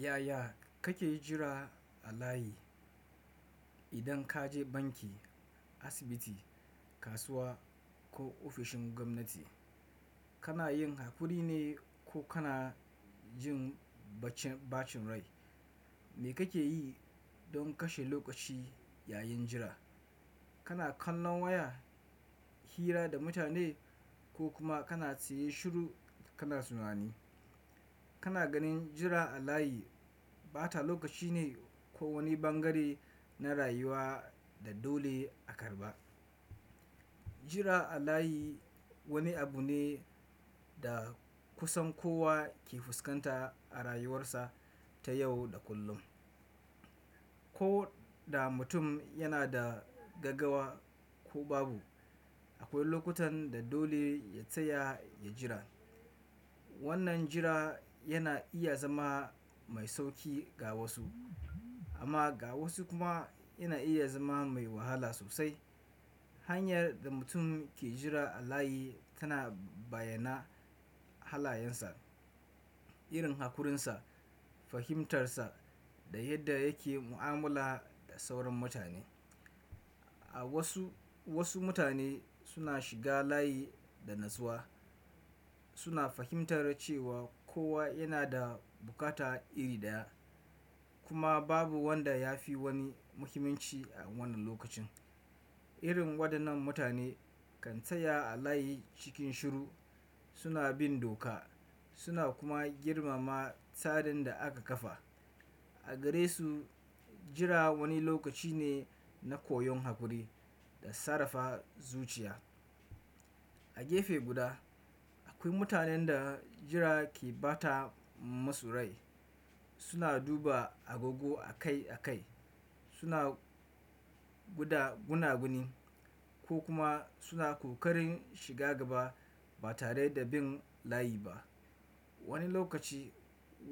Yaya kake jira a layi? Idan kaje banki, asibiti, kasuwa ko ofishin gwamnati, kanayin hakurine ko kanajin bacci, bacin rai. Me kake yi don kashe lokaci yayin jira? Kana kallon waya, hira da mutane ko kuma kana tsiye shiru kana tunani. Kana ganin jira a layi bata lokacine ko wani bangare na rayuwa da dole a karɓa. Jira a layi wani abune da kusan kowa ke fuskanta a rayuwarsa ta yau da kullum. Koda mutum yanada gaggawa ko babu, akwai lokutanda dole ya tsaya ya jira. Wannan jira yana iya zama mai sauƙi ga wasu amma ga wasu kuma yana iya zama mai wahala sosai. Hanyar da mutum ke jira a layi tana bayyana halayensa, irin hakurinsa, fahimtarsa da yadda yake mu'amala da sauran mutane. A wasu, wasu mutane suna shiga layi da natsuwa. Suna fahimtar cewa kowa yanada bukata iri ɗaya kuma babu wanda ya fi wani muhimmanci a wannan lokacin. Irin waɗannan mutane kan tsaya a layi cikin shiru. Suna bin doka suna kuma girmama tsarin da aka kafa. A garesu, jira wani lokacine na koyon hakuri da sarrafa zuciya. A gefe guda, akwai mutanenda jira ke bata musu rai. Suna duba agogo a kai a kai, suna guda gunaguni ko kuma suna ƙoƙarin shiga gaba ba tareda bin layi ba. Wani lokaci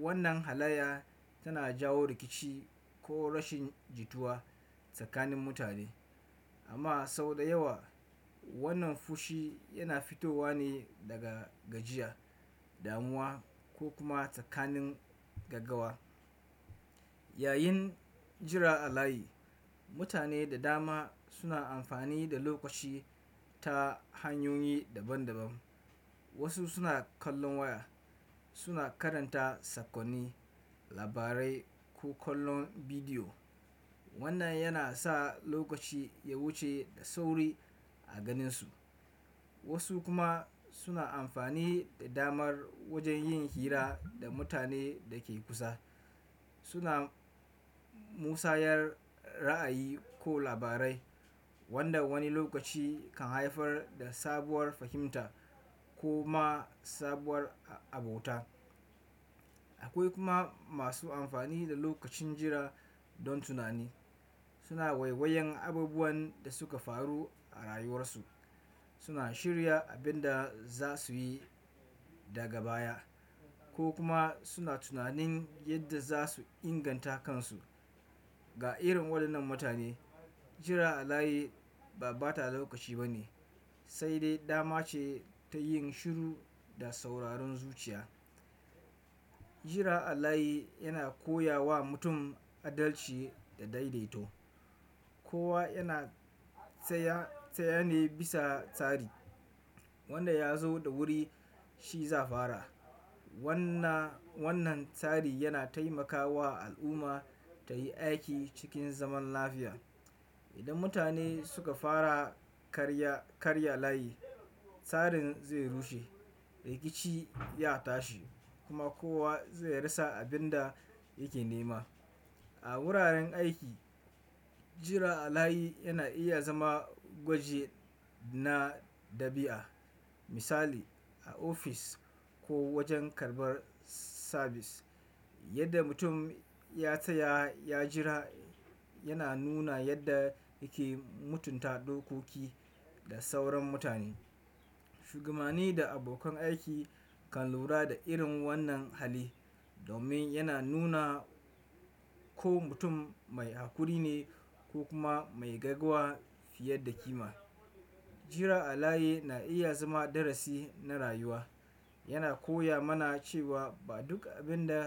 wannan halayya tana jawo rikici ko rashin jituwa tsakanin mutane amma sau da yawa wannan fushi yana fitowa ne daga gajiya, damuwa ko kuma tsakanin gaggawa. Yayin jira a layi, mutane da dama suna amfani da lokaci ta hanyoyi daban daban. Wasu suna kallon waya, suna karanta sakonni, labarai ko kallon bidiyo. Wannan yana sa lokaci ya wuce da sauri a ganinsu. Wasu kuma suna amfani da damar wajen yin hira da mutanen dake kusa. Suna musayar ra'ayi ko labarai wanda wani lokaci kan haifar da sabuwar fahimta ko ma sabuwar abota. Akwai kuma masu amfani da lokacin jira don tunani. Suna waiwayen abubuwan da suka faru a rayuwarsu. Suna shirya abin da za su yi daga baya ko kuma suna tunanin yadda za su inganta kansu. Ga irin waɗannan mutane, jira a layi ba bata lokaci bane, saidai damace tayin shiru da sauraron zuciya. Jira a layi yana koyawa mutum adalci da daidaito. Kowa yana tsaya, tsayene bisa tsari. Wanda yazo da wuri shi za'a fara. Wannan, wannan tsari yana taimakawa al'umma tayi aiki cikin zaman lafiya. Idan mutane suka fara karya, karya layi, tsarin zai rushe, rikici ya tashi kuma kowa zai rasa abinda yake nema. A wuraren aiki, jira a layi yana iya zama gwaji na ɗabi'a. Misali, a ofis ko wajen karɓar sabis. Yadda mutum ya tsaya ya jira yana nuna yadda yake mutunta dokoki da sauran mutane. Shugabanni da abokan aiki kan lura da irin wannan hali domin yana nuna ko mutum mai hakuri ne ko kuma mai gaggawa fiye da kima. Jira a layi na iya zama darasi na rayuwa. Yana koya mana cewa ba duk abin da.